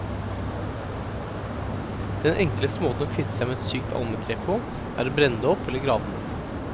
Den enkleste måten å kvitte seg med et sykt almetre på, er å brenne det opp eller grave det ned.